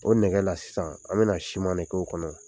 O nɛgɛ la sisan an bɛna na siman de k'o kɔnɔ.